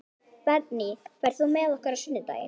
Bergný, ferð þú með okkur á sunnudaginn?